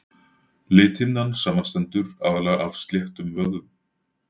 lithimnan samanstendur aðallega af sléttum vöðvum